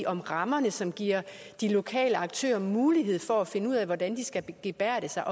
om rammerne som giver de lokale aktører mulighed for at finde ud af hvordan de skal gebærde sig